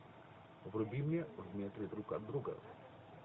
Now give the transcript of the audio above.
вруби мне в метре друг от друга